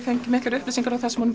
fengið miklar upplýsingar um það sem hún